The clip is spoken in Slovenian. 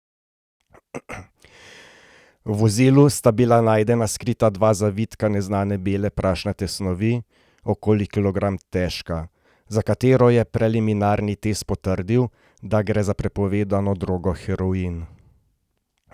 V vozilu sta bila najdena skrita dva zavitka neznane bele prašnate snovi, okoli kilogram težka, za katero je preliminarni test potrdil, da gre za prepovedano drogo heroin.